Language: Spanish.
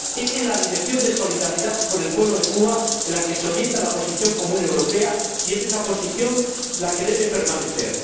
Es en la dirección de solidaridad con el pueblo de Cuba en la que se orienta la Posición Común europea y es esa Posición la que debe permanecer.